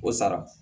O sara